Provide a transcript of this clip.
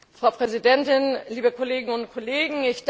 Frau Präsidentin, liebe Kolleginnen und Kollegen!